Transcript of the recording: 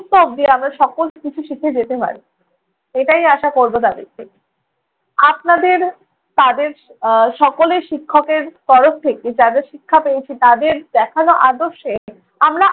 অব্ধি আমরা সকল কিছু শিখে যেতে হয়। এটাই আশা করবো তাঁদের থেকে। আপনাদের তাদের আহ সকলের শিক্ষকের তরফ থেকে যা যা শিক্ষা পেয়েছি তাঁদের দেখানো আদর্শে আমরা